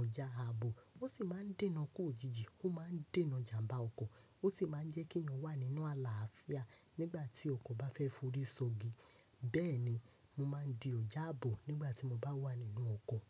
ọjà ààbò. Ó sì máa ń dènà kú òjijì, ó máa ń dènà ìjàmbá ọkọ̀, ó sì máa ń jẹ́ kí èèyàn wà nínú àlàáfíà nígbà tí ọkọ̀ bá fẹ́ forí sọgi. Bẹ́ẹ̀ni, mo máa ń di ọjà ààbò nígbà tí mo bá wà nínú ọkọ̀.